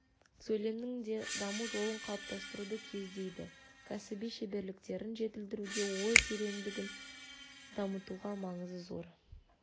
сөйлемнің де даму жолын қалыптастыруды көздейді кәсіби шеберліктерін жетілдіруде ой тереңдігін дамытуда маңызы зор